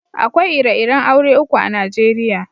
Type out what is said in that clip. Akwai ire-iren aure uku a'Nijeriya.